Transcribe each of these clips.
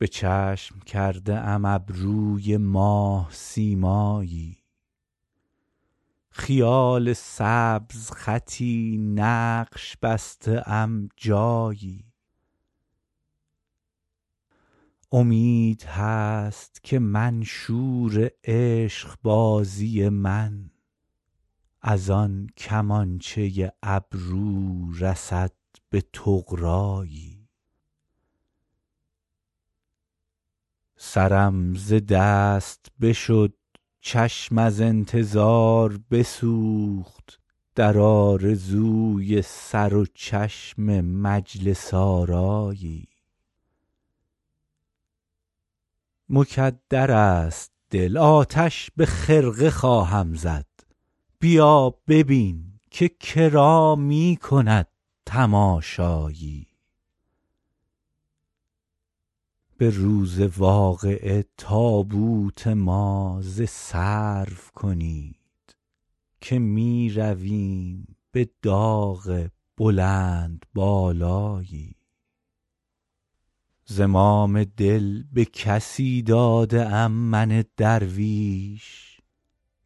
به چشم کرده ام ابروی ماه سیمایی خیال سبزخطی نقش بسته ام جایی امید هست که منشور عشق بازی من از آن کمانچه ابرو رسد به طغرایی سرم ز دست بشد چشم از انتظار بسوخت در آرزوی سر و چشم مجلس آرایی مکدر است دل آتش به خرقه خواهم زد بیا ببین که کرا می کند تماشایی به روز واقعه تابوت ما ز سرو کنید که می رویم به داغ بلندبالایی زمام دل به کسی داده ام من درویش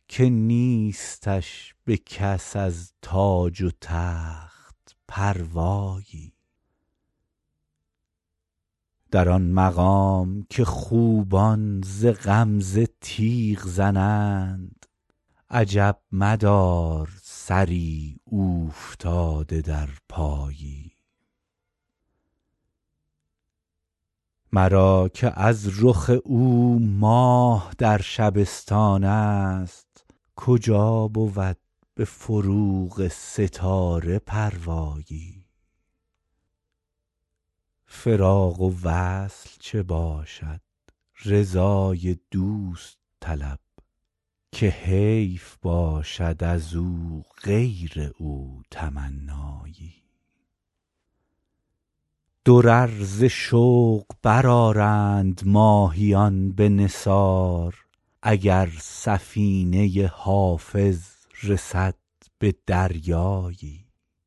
که نیستش به کس از تاج و تخت پروایی در آن مقام که خوبان ز غمزه تیغ زنند عجب مدار سری اوفتاده در پایی مرا که از رخ او ماه در شبستان است کجا بود به فروغ ستاره پروایی فراق و وصل چه باشد رضای دوست طلب که حیف باشد از او غیر او تمنایی درر ز شوق برآرند ماهیان به نثار اگر سفینه حافظ رسد به دریایی